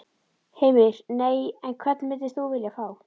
Heimir: Nei, en hvern myndir þú vilja fá?